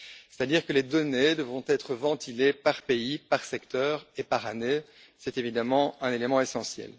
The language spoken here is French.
C'est à dire que les données devront être ventilées par pays, par secteur et par année. C'est un élément essentiel.